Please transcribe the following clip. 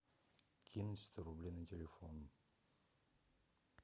кинь сто рублей на телефон